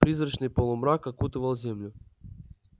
призрачный полумрак окутывал землю